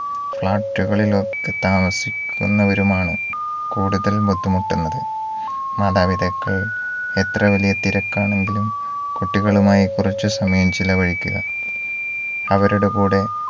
flat കളിലൊക്കെ താമസിക്കുന്നവരുമാണ് കൂടുതൽ ബുദ്ധിമുട്ടുന്നത് മാതാപിതാക്കൾ എത്ര വലിയ തിരക്കാണെങ്കിലും കുട്ടികളുമായി കുറച്ചു സമയം ചിലവഴിക്കുക അവരുടെ കൂടെ